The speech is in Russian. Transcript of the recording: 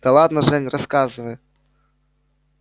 да ладно жень рассказывай